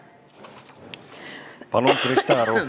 Palun, Krista Aru!